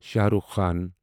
Shah Rukh Khan